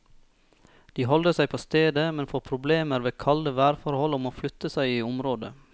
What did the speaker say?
De holder seg på stedet, men får problemer ved kalde værforhold og må flytte seg i området.